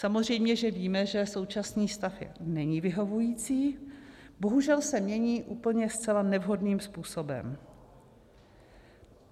Samozřejmě že víme, že současný stav není vyhovující, bohužel se mění úplně zcela nevhodným způsobem.